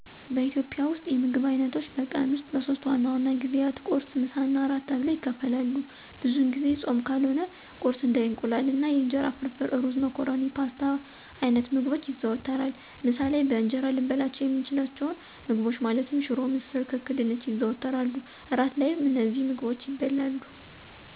በኢትዮጵያ ውስጥ የምግብ አይነቶች በቀን ውስጥ በሶስት ዋና ዋና ጊዜያት ቁርስ፣ ምሳ እና እራት ተብለው ይከፈላሉ። ብዙውን ጊዜ ፆም ካልሆነ ቁርስ እንደ የእንቁላል ወይም የእንጀራ ፍርፍር፣ ሩዝ፣ መኮረኒ ፓስታ አይነት ምግቦች ይዘወተራሉ። ምሳ ላይ በእንጀራ ልንበላቸው የምንችላቸውን ምግቦች ማለትም ሽሮ፣ ምስር፣ ክክ፣ ድንች ይዘወተራሉ። እራት ላይም እነዚሁ ምግቦች ይበላሉ።